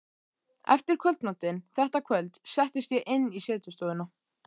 Eftir kvöldmatinn þetta kvöld settist ég inn í setustofuna.